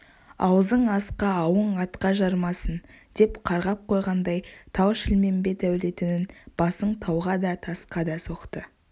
аузың асқа ауың атқа жарымасын деп қарғап қойғандай тау-шілмембет әулетінің басын тауға да тасқа да соқты